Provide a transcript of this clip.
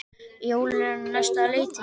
Jólin eru á næsta leiti.